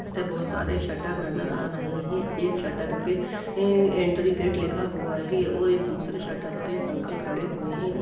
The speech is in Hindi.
बहुत सारे शटर नज़र आ रहें हैं एक शटर पे एंट्री गेट लिखा हुआ है और एक दूसरे शटर पे एक अंकल खड़े हुए हैं और --